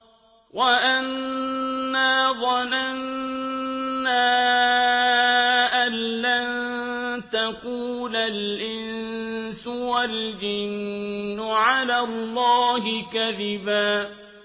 وَأَنَّا ظَنَنَّا أَن لَّن تَقُولَ الْإِنسُ وَالْجِنُّ عَلَى اللَّهِ كَذِبًا